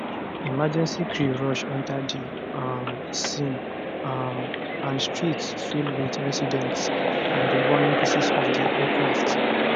emergency crew rush enta di um scene um and streets fill wit residents and di burning pieces of di aircraft